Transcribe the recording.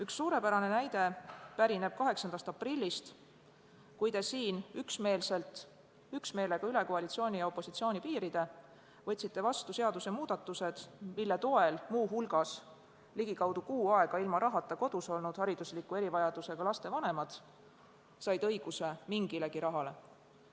Üks suurepärane näide pärineb 8. aprillist, kui te siin üksmeelselt – üksmeelega üle koalitsiooni ja opositsiooni piiride – võtsite vastu seadusemuudatused, mille toel muu hulgas ligikaudu kuu aega ilma rahata kodus olnud haridusliku erivajadusega laste vanemad said õiguse mingilegi rahale.